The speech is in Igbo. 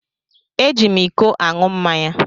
Eji m ịkọ aṅụ mmáñyá.